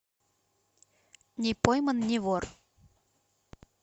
не пойман не вор